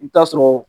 I bi taa sɔrɔ